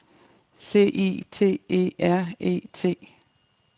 C I T E R E T